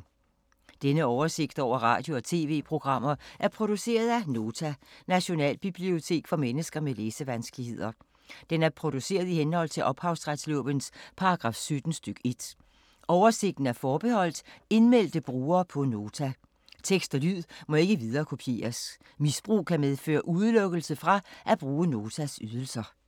Denne oversigt over radio og TV-programmer er produceret af Nota, Nationalbibliotek for mennesker med læsevanskeligheder. Den er produceret i henhold til ophavsretslovens paragraf 17 stk. 1. Oversigten er forbeholdt indmeldte brugere på Nota. Tekst og lyd må ikke viderekopieres. Misbrug kan medføre udelukkelse fra at bruge Notas ydelser.